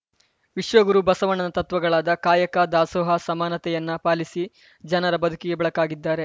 ವಿಶ್ವಗುರು ಬಸವಣ್ಣನ ತತ್ವಗಳಾದ ಕಾಯಕ ದಾಸೋಹ ಸಮಾನತೆಯನ್ನ ಪಾಲಿಸಿ ಜನರ ಬದುಕಿಗೆ ಬೆಳಕಾಗಿದ್ದಾರೆ